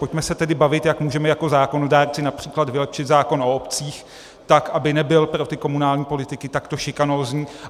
Pojďme se tedy bavit, jak můžeme jako zákonodárci například vylepšit zákon o obcích tak, aby nebyl pro ty komunální politiky takto šikanózní.